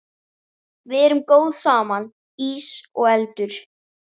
Við erum góð saman, ís og eldur.